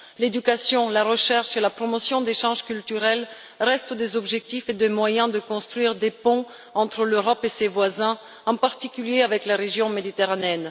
L'éducation, la recherche et la promotion d'échanges culturels restent des objectifs et des moyens de construire des ponts entre l'Europe et ses voisins, en particulier avec la région méditerranéenne.